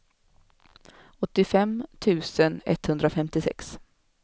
åttiofem tusen etthundrafemtiosex